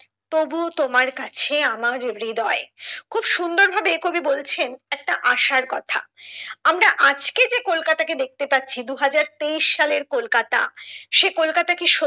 তবু ও তোমার কাছে আমরা হৃদয় খুব সুন্দর ভাবে কবি বলেছেন একটা আশার কথা আমরা আজকে যে কলকাতাকে দেখতে পাচ্ছি দুহাজার তেইশ সালের কলকাতা সে কলকাতা কি